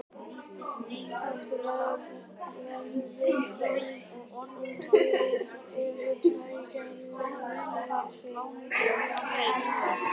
taka verður fram að til eru tvær gerðir af tyggigúmmí